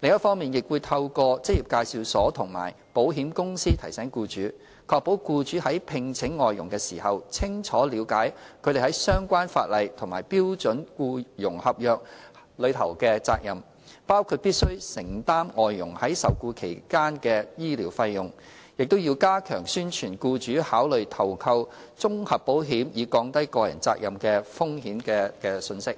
另一方面，亦會透過職業介紹所和保險公司提醒僱主，確保僱主在聘請外傭時，清楚了解他們在相關法例和標準僱傭合約下的責任，包括必須承擔外傭在受僱期內的醫療費用，並加強宣傳僱主考慮投購綜合保險以降低個人責任的風險的信息。